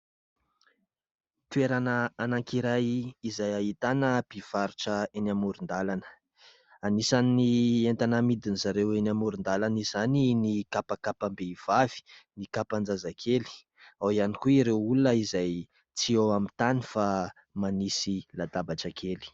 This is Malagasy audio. Toerana anankiray izay ahitana mpivarotra eny amoron-dalana. Anisan'ny entana hamidindry zareo eny amoron-dalana izany ny kapakapam-behivavy, ny kapan-jazakely ao ihany koa ireo olona izay tsy eo amin'ny tany fa manisy latabatra kely.